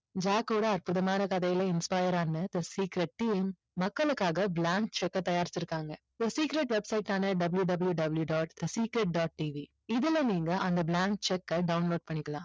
ஜாக்கோட அற்புதமான கதையில inspire ஆன the secret team மக்களுக்காக blank cheque அ தயாரிச்சிருக்காங்க the secret website ஆன WWW dot secret dot TV இதுல நீங்க அந்த blank cheque அ நீங்க download பண்ணிக்கலாம்